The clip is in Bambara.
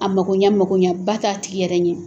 A mako ɲɛ mago ɲɛ ba k'a tigi yɛrɛ ɲɛ.